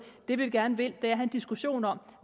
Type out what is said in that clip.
det vi gerne vil have en diskussion om